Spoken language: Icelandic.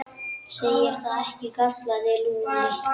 Segir það ekki? galaði Lúlli.